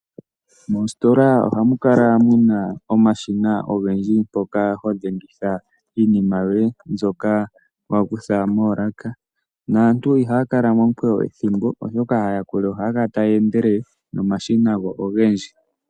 Moositola ohamu kala muna omashina ogendji mpoka ho dhengitha iinima yoye mbyoka wa kutha moolaka. Naantu ihaya kala momukweyo ethimbo oshoka aayakuli ohaya kala taya endelele nomashina ogendji.